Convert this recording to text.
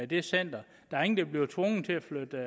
det center der er ingen der bliver tvunget til at flytte